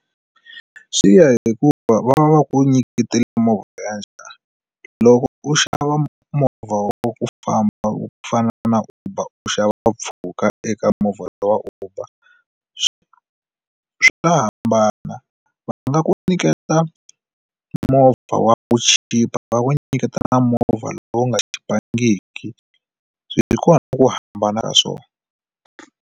Swi ya hikuva va va ku nyiketela movha ya njhani loko u xava movha wo ku famba wu fana na uber u xava mpfhuka eka movha wa uber swo swi nga hambana va nga ku nyiketa movha wa ku chipa va ku nyiketa na movha lowu nga chipangiki hi kona ku hambana ka swona.